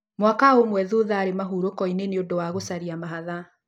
Mwaka ũmwe thutha aarĩ mahurũko inĩ nĩũndũ wa gũciara mahatha